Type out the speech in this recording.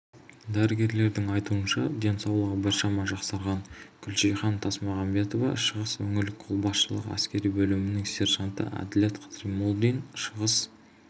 дәрігерлердің айтуынша денсаулығы біршама жақсарған гүлжихан тасмағанбетова шығыс өңірлік қолбасшылығы әскери бөлімінің сержанты әділет қыдырмолдин шығыс